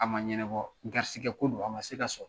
A ma ɲɛnabɔ garisikɛ ko don,a ma se ka sɔrɔ.